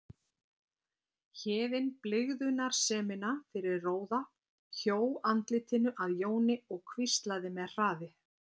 Héðinn blygðunarsemina fyrir róða, hjó andlitinu að Jóni og hvíslaði með hraði